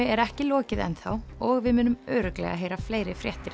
er ekki lokið enn þá og við munum örugglega heyra fleiri fréttir